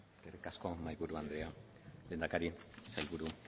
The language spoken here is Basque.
eskerrik asko mahaiburu anderea lehendakari sailburu